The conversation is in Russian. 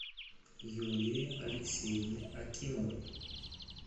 юлии алексеевне акимовой